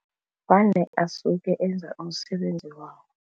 Vane asuke enza umsebenzi wawo.